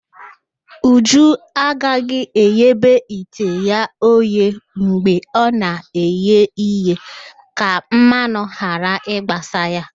Uju agaghị eghobe ite ya oghe mgbe ọ na-eghe ihe ka mmanụ ghara ịgbasa ya